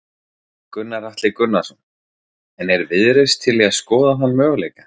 Gunnar Atli Gunnarsson: En er Viðreisn til í að skoða þann möguleika?